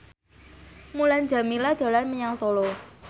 Mulan Jameela dolan menyang Solo